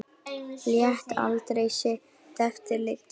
Lét aldrei sitt eftir liggja.